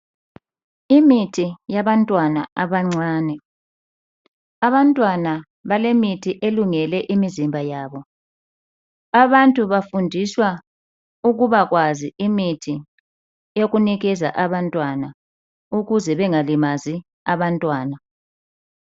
Imithi yabantwana abancane. Abantwana balemithi elungele imizimba yabo. Abantu bafundiswa ukuba kwazi imithi yokunikeza abantwana ukuze bengalimalizi abantwana.